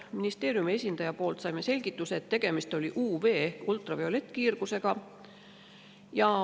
Ministeeriumi esindajalt saime selgituse, et tegemist oli UV- ehk ultraviolettkiirgusega.